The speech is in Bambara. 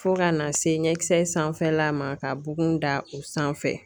Fo ka na se ɲɛkisɛ sanfɛla ma ka bugun da o sanfɛ.